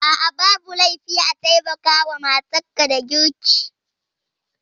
A'a babu laifi a taimaka wa matar ka da girki